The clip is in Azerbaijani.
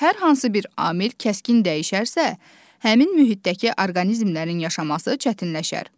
Hər hansı bir amil kəskin dəyişərsə, həmin mühitdəki orqanizmlərin yaşaması çətinləşər.